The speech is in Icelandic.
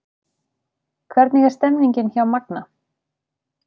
Hvernig er stemningin hjá Magna?